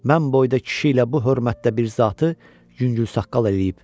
Mən boyda kişi ilə bu hörmətdə bir zatı yüngülsəqqal eləyib.